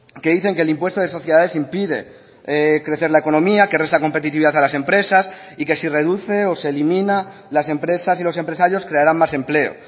que dicen que el impuesto de sociedades impide crecer la economía que resta competitividad a las empresas y que si reduce o se elimina las empresas y los empresarios crearán más empleo